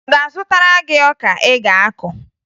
Ọ ga-azụtara gị ọka ị ga-akụ?